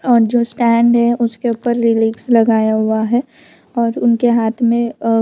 और जो स्टैंड है उसके ऊपर लिरिक्स लगाया हुआ है और उनके हाथ में अ --